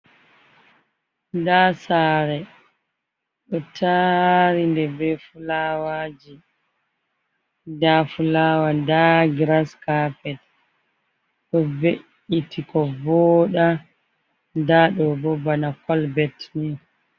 Da sare do tari de be fulawaji ,da fulawa da gras carpet ko ve’iti ko voda dadobo bana colbet ne.